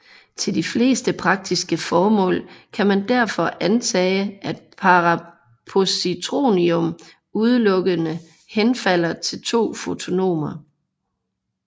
Til de fleste praktiske formål kan man derfor antage at parapositronium udelukkende henfalder til to fotoner